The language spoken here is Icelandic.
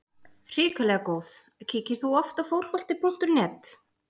Hrikalega góð Kíkir þú oft á Fótbolti.net?